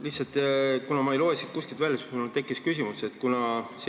Lihtsalt, kuna ma ei loe siit kuskilt välja, siis mul tekkis niisugune küsimus.